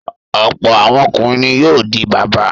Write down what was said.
Ọ̀pọ̀ àwọn ọkùnrin ni yóò di bàbá.